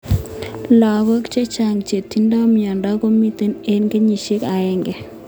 lagok chechang che tindoi mioni ko meitos ing kenyishek aeng.